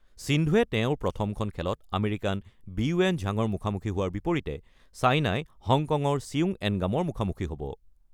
সিন্ধুৱে তেওঁৰ প্ৰথমখন খেলত আমেৰিকাৰ বিইৱেন ঝাঙৰ মুখামুখি হোৱাৰ বিপৰীতে ছেইনাই হংকঙৰ চিউং এনগামৰ মুখামুখি হ'ব।